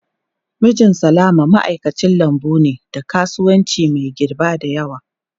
Mijin Salama ma'aikacin lambu ne na kasuwanci mai girba da yawa.